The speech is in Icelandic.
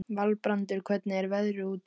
Valbrandur, hvernig er veðrið úti?